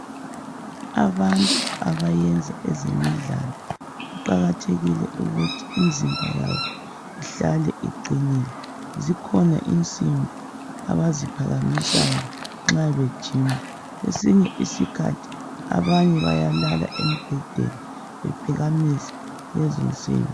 Abantu abayenza ezemidlalo kuqakathekile ukuthi imizimba yabo ihlale iqinile, zikhona imsimbi abaziphakamisayo nxa bejima. Kwesinye isikhathi abanye bayalala embhedeni bephakamisa lezo msimbi.